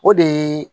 O de ye